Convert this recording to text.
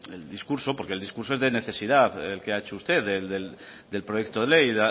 el discurso porque el discurso es de necesidad el que ha hecho usted del proyecto de ley